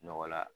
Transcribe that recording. Nɔgɔ la